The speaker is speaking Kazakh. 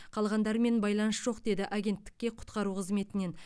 қалғандарымен байланыс жоқ деді агенттікке құтқару қызметінен